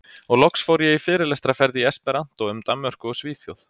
Og loks fór ég fyrirlestraferð í esperanto um Danmörku og Svíþjóð.